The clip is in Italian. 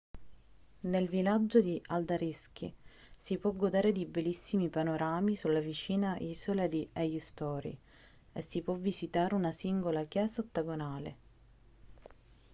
nel villaggio di haldarsvik si può godere di bellissimi panorami sulla vicina isola di eysturoy e si può visitare una singolare chiesa ottagonale